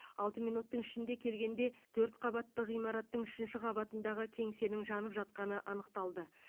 алты минуттың ішінде келгенде төрт қабатты ғимараттың үшінші қабатындағы кеңсенің жанып жатқаны анықтады